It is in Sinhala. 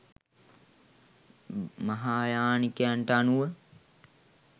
මහායානිකයන්ට අනුව